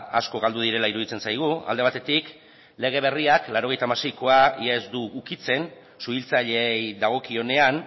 asko galdu direla iruditzen zaigu alde batetik lege berriak laurogeita hamaseikoa ia ez du ukitzen suhiltzaileei dagokionean